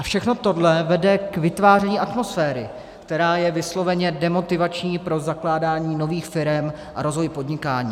A všechno tohle vede k vytváření atmosféry, která je vysloveně demotivační pro zakládání nových firem a rozvoj podnikání.